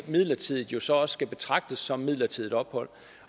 midlertidigt så også skal betragtes som midlertidigt ophold